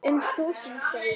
Um þúsund segir